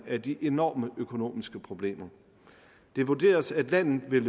af de enorme økonomiske problemer det vurderes at landet vil